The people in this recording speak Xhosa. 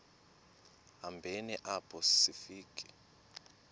hambeni apho sifika